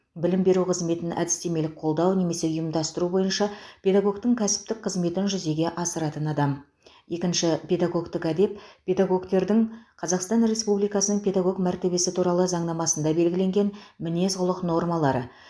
білім беру қызметін әдістемелік қолдау немесе ұйымдастыру бойынша педагогтің кәсіптік қызметін жүзеге асыратын адам екінші педагогтік әдеп педагогтердің қазақстан республикасының педагог мәртебесі туралы заңнамасында белгіленген мінез құлық нормалары